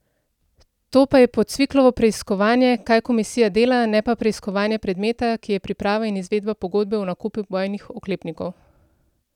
To pa je po Cviklovo preiskovanje, kaj komisija dela, ne pa preiskovanje predmeta, ki je priprava in izvedba pogodbe o nakupu bojnih oklepnikov.